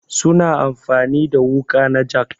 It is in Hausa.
Su na amfani da wuƙa na jak.